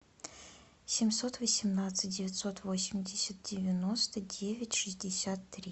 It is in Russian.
семьсот восемнадцать девятьсот восемьдесят девяносто девять шестьдесят три